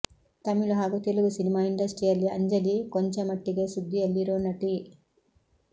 ತಮಿಳು ಹಾಗು ತೆಲುಗು ಸಿನಿಮಾ ಇಂಡಸ್ಟ್ರಿಯಲ್ಲಿ ಅಂಜಲಿ ಕೊಂಚ ಮಟ್ಟಿಗೆ ಸುದ್ದಿಯಲ್ಲಿರೋ ನಟಿ